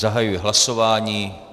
Zahajuji hlasování.